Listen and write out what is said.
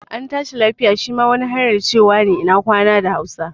An tashi lafiya' shi ma wani hanyar cewa ina kwana ne a hausa